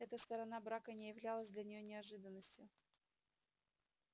эта сторона брака не являлась для нее неожиданностью